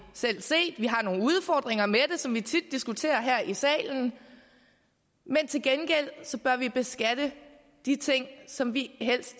selv set vi har nogle udfordringer med som vi tit diskuterer her i salen men til gengæld bør vi beskatte de ting som vi helst